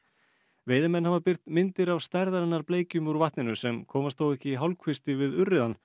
veiðimenn hafa birt myndir af stærðarinnar bleikjum úr vatninu sem komast þó ekki í hálfkvisti við urriðann